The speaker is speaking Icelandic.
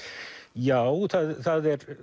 já það er